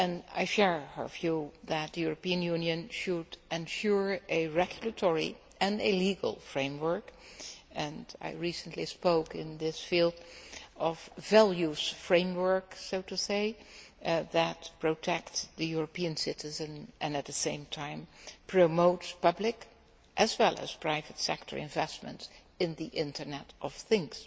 I share her view that the European Union should ensure a regulatory and a legal framework and I recently spoke in this field of the values framework that protects the European citizen and at the same time promotes public as well as private sector investments in the Internet of Things.